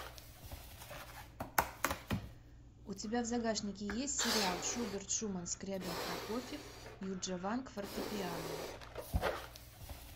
у тебя в загашнике есть сериал шуберт шуман скрябин прокофьев юджа ванг фортепиано